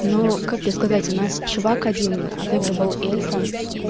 ну как тебе сказать у нас чувак один отыгрывал эльфа